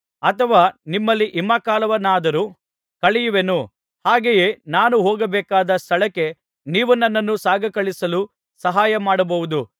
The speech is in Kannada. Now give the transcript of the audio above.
ಅಥವಾ ನಿಮ್ಮಲ್ಲಿ ಹಿಮಕಾಲವನ್ನಾದರೂ ಕಳೆಯುವೆನು ಹಾಗೆಯೇ ನಾನು ಹೋಗಬೇಕಾದ ಸ್ಥಳಕ್ಕೆ ನೀವು ನನ್ನನ್ನು ಸಾಗಕಳುಹಿಸಲು ಸಹಾಯಮಾಡಬಹುದು